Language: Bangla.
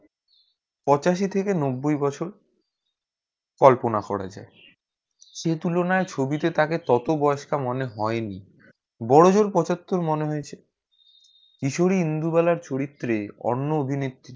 পঁচাশি থেকে নব্বই বছর কল্পনা করা যায় এই তুলনা ছবি তে তাকে ততো বয়েস্কার মনে হয়ে নি বড় জোর পঁচাত্তর মনে হয়েছে ইচুরি ইন্দুবালা চরিত্রে অন্য অভিনয়ে